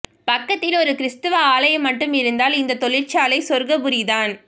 பக்கத்தில் ஓர் கிறித்துவ ஆலயம் மட்டும் இருந்தால் இந்த தொழிற்சாலை சொர்க்கபுரிதான்